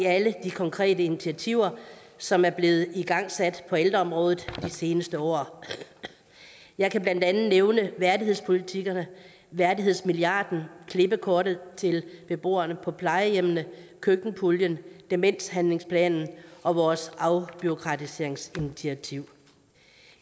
af alle de konkrete initiativer som er blevet igangsat på ældreområdet de seneste år jeg kan blandt andet nævne værdighedspolitikkerne værdighedsmilliarden klippekortet til beboerne på plejehjemmene køkkenpuljen demenshandlingsplanen og vores afbureaukratiseringsinitiativ